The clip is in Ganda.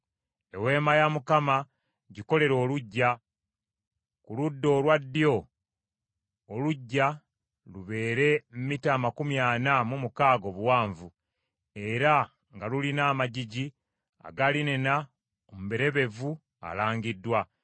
“Eweema ya Mukama gikolere oluggya. Ku ludda olwa ddyo oluggya lubeere mita amakumi ana mu mukaaga obuwanvu, era nga lulina amagigi aga linena omulebevu alangiddwa,